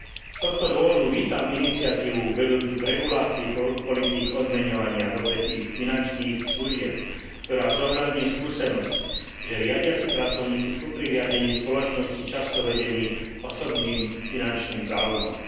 Z tohto dôvodu vítam iniciatívu vedúcu k regulácii politík odmeňovania v odvetví finančných služieb, ktorá zohľadní skúsenosť, že riadiaci pracovníci sú pri riadení spoločnosti často vedení osobným finančným záujmom.